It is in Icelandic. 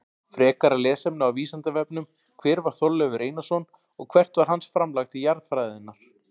Frekara lesefni á Vísindavefnum: Hver var Þorleifur Einarsson og hvert var hans framlag til jarðfræðinnar?